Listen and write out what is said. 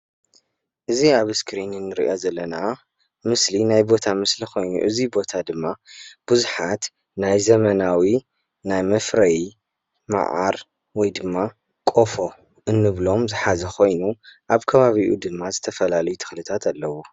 እዚ አብ እስክሪን ንሪኦ ዘለና ምስሊ ናይ ቦታ ምስሊ ኾይኑ እዚ ቦታ ድማ ቡዛሓት ናይ ዘመናዊ ናይ መፍረዪ መዓር ወይ ድማ ቆፎ እንብሎም ዝሓዘ ኾይኑ አብ ከባቢኡ ድማ ዝተፈላለዩ ተኽልታት አለው፡፡